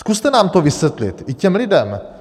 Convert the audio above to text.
Zkuste nám to vysvětlit, i těm lidem.